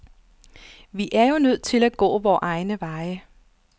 Vi er jo nødt til at gå vore egne veje.